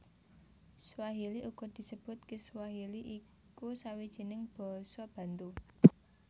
Swahili uga disebut Kiswahili iku sawijining basa Bantu